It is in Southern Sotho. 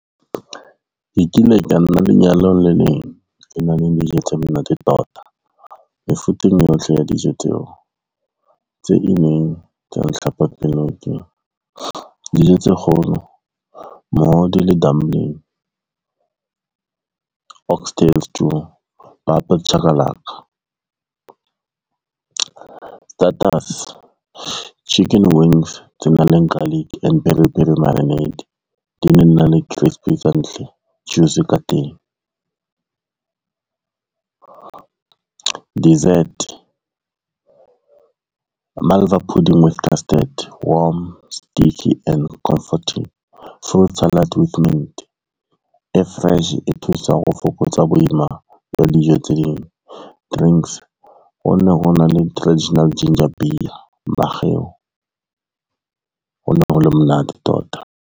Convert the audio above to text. Ke kile ka nna lenyalong le leng e na le dijo tse monate tota. Mefuta ena yohle ya dijo tseo tse ileng tsa . Dijo tse kgolo mohodu le dumbling, oxtail stew, papa le chakalaka. Starters, chicken wings tse nang le garlic and peri peri marinate di na le crispy ka ntle, juicy ka teng. Dessert, malva pudding with custard warm, sticky and comforting, fruit salad with mint e fresh e thusa ho fokotsa boima ba dijo tse ding. Drinks ho ne ho na le traditional ginger beer, makgeu, ho ne ho le monate tota.